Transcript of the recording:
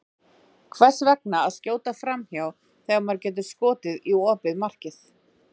Hvers vegna að skjóta framhjá, þegar maður getur skotið í opið markið?